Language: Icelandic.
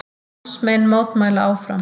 Námsmenn mótmæla áfram